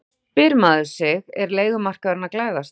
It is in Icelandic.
Þá spyr maður sig er leigumarkaðurinn að glæðast?